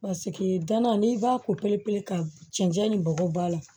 danna n'i b'a ko perepere ka cɛncɛn ni bɔgɔ b'a la